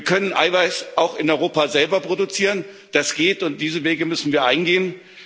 Wir können Eiweiß auch in Europa selber produzieren, das geht, und diese Wege müssen wir eingehen.